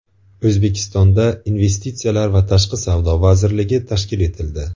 O‘zbekistonda Investitsiyalar va tashqi savdo vazirligi tashkil etildi.